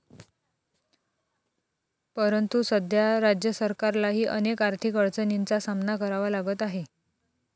परंतु, सध्या राज्य सरकारलाही अनेक आर्थिक अडचणींचा सामना करावा लागत आहे.